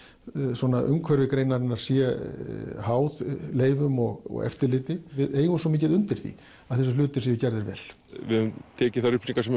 svona umhverfi greinarinnar sé háð leyfum og eftirliti við eigum svo mikið undir því að þessir hlutir séu gerðir vel við höfum tekið þær upplýsingar sem